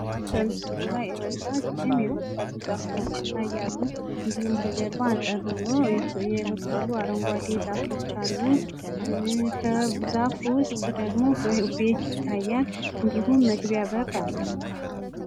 በምስሉ ረጃጅም የበቀሉ ላይ ዛፎች ይታያሉ። እንዲሁም ከጀርባ አጠር ብሎ የበቀሉ አረንጓዴ ዛፎች አሉ። ከዛፉ ውስጥ ደግሞ ቤት ይታያል። እንዲሁም መግቢያ በር አለው።